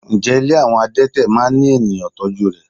Ǹjẹ́ ilé àwọn adete máa ń ní ènìyàn tọ́jú rè?